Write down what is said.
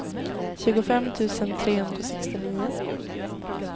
tjugofem tusen trehundrasextionio